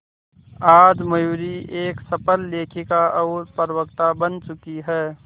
आज मयूरी एक सफल लेखिका और प्रवक्ता बन चुकी है